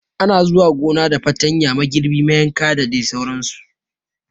Ana zuwa gona da fartanya, magirbi mayanka da dai sauran su